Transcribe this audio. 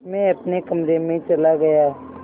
मैं अपने कमरे में चला गया